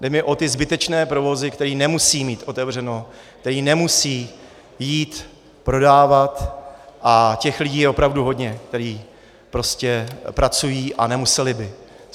Jde mi o ty zbytečné provozy, které nemusí mít otevřeno, které nemusí jít prodávat, a těch lidí je opravdu hodně, kteří prostě pracují a nemuseli by.